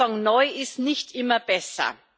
Ich würde einfach sagen Neu ist nicht immer besser.